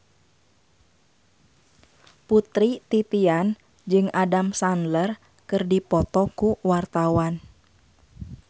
Putri Titian jeung Adam Sandler keur dipoto ku wartawan